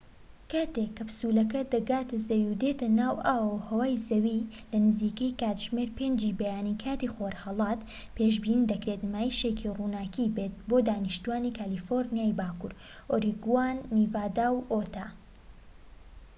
کاتێک کەپسولەکە دەگاتە زەوی و دێتە ناو ئاو و هەوای زەوی، لە نزیکەی کاتژمێر 5ی بەیانی کاتی خۆرھەڵات، پێشبینی دەکرێت نمایشێکی ڕووناكی بێت بۆ دانیشتوانی کالیفۆرنیای باکوور، ئۆریگۆن، نیڤادا، و ئوتا